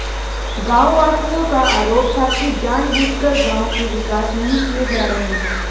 गांववासियों का आरोप था कि जान बूझकर गांव के विकास नहीं किए जा रहे